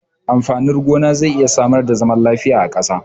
Amfanin gona zai iya samar da zaman lafiya a ƙasa.